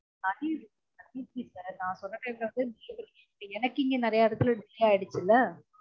atleast atleast நீங்க நான் சொன்ன time ல வந்து delivery இல்ல எனக்கு இங்க நெறய இடத்துல delay ஆகிடுச்சுல